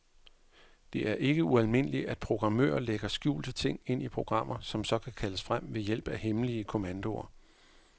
Det er ikke ualmindeligt, at programmører lægger skjulte ting ind i programmer, som så kan kaldes frem ved hjælp af hemmelige kommandoer.